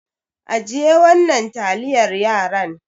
Ajiye wannan taliyar yaran.